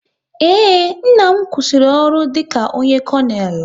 Ee, nna m kwụsịrị ọrụ dịka onye konel